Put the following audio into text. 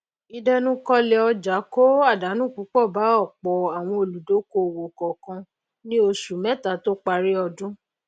ìdẹnukọlẹ ọjà kó àdánù púpọ bá ọpọ àwọn olùdókòwò kọọkan ní osù mẹta tó parí odún